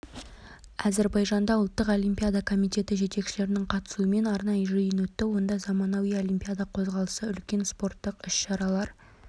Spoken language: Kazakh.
әзербайжанда ұлттық олимпиада комитеті жетекшілерінің қатысуымен арнайы жиын өтті онда заманауи олимпиада қозғалысы үлкен спорттық іс-шаралар